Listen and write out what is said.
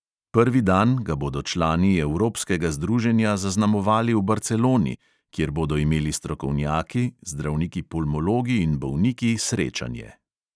Prvi dan ga bodo člani evropskega združenja zaznamovali v barceloni, kjer bodo imeli strokovnjaki, zdravniki pulmologi in bolniki srečanje.